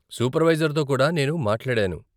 సూపర్వైజర్తో కూడా నేను మాట్లాడాను.